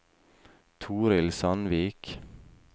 Torhild Sandvik